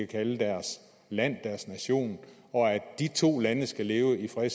kalde deres land deres nation og at de to lande skal leve i fred